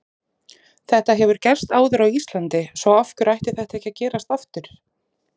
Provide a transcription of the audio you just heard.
Þetta hefur gerst áður á Íslandi svo af hverju ætti þetta ekki að gerast aftur?